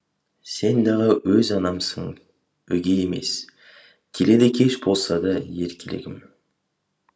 сен дағы өз анамсың өгей емес келеді кеш болса да еркелегім